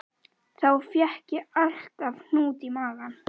Þá fékk ég alltaf hnút í magann.